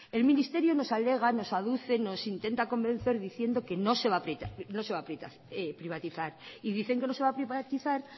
el ministerio nos alega nos aduce nos intenta convencer diciendo que no se va a privatizar y dicen que no se va a privatizar